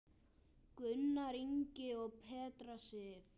Gunnar Ingi og Petra Sif.